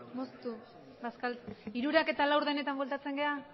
moztu hamabosthamabostetan bueltatzen gara